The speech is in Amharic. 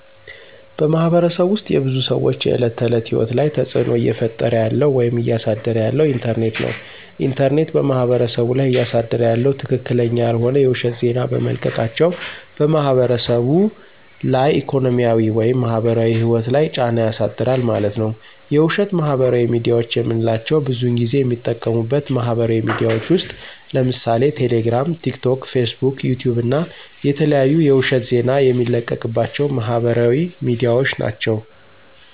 በማህበረሰቡ ውስጥ የብዙ ሰዎች የዕለት ተዕለት ህይወት ላይ ተፅዕኖ እየፈጠረ ያለው ወይም እያሳደረ ያለው ኢንተርኔት ነው። ኢንተርኔት በማህበረሰቡ ላይ እያሳደረ ያለው ትክክለኛ ያልሆነ የውሸት ዜና በመልቀቃቸው በማህበረሰቡ ላይ ኢኮኖሚያዊ ወይም ማህበራዊ ህይወት ላይ ጫና ያሳድራል ማለት ነዉ። የውሸት ማህበራዊ ሚድያዎች የምንላቸው ብዙን ጊዜ የሚጠቀሙበት ማህበራዊ ሚድያዎች ውስጥ ለምሳሌ ቴሌግራም፣ ቲክቶክ፣ ፌስቡክ፣ ዩቲዩብ እና የተለያዩ የውሸት ዜና የሚለቀቅባቸው ማህበራዊ ሚድያዎች ናቸው።